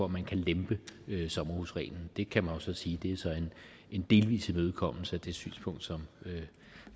man kan lempe sommerhusreglen det kan man jo så sige er en delvis imødekommelse af det synspunkt som